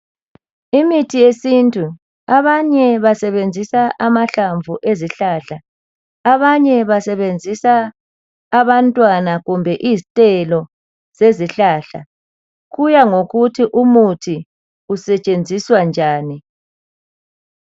Imithi yesintu. Abanye basebenzisa amahlamvu ezihlahla, abanye basebenzisa abantwana kumbe izithelo zezihlahla. Kuya ngokuthi umthi usetshenziswa njani.